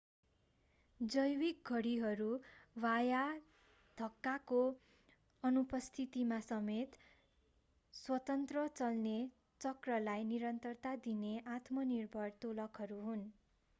जैविक घडीहरू बाह्य धक्काको अनुपस्थितिमा समेत स्वतन्त्र-चल्ने चक्रलाई निरन्तरता दिने आत्मनिर्भर दोलकहरू हुन्